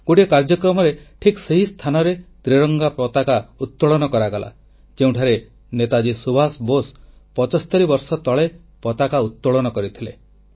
ଗୋଟିଏ କାର୍ଯ୍ୟକ୍ରମରେ ଠିକ୍ ସେହି ସ୍ଥାନରେ ତ୍ରିରଙ୍ଗା ପତାକା ଉତ୍ତୋଳନ କରାଗଲା ଯେଉଁଠାରେ ନେତାଜୀ ସୁଭାଷ ବୋଷ 75 ବର୍ଷ ତଳେ ପତାକା ଉତ୍ତୋଳନ କରିଥିଲେ